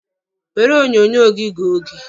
Were onyonyo gị gụọ oge!